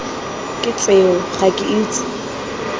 ke tseo ga ke itse